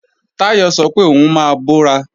Táyọ̀ sọ pé òun máa bọ́ra